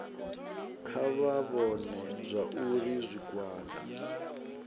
kha vha vhone zwauri zwigwada